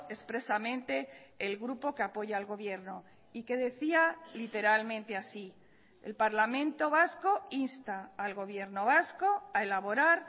expresamente el grupo que apoya al gobierno y que decía literalmente así el parlamento vasco insta al gobierno vasco a elaborar